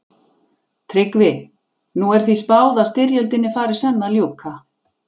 TRYGGVI: Nú er því spáð að styrjöldinni fari senn að ljúka.